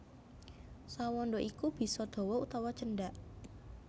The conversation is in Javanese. Sa wanda iku bisa dawa utawa cendhak